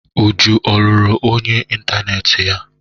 Uju ọ lụrụ ọyị ịntaneetị ya?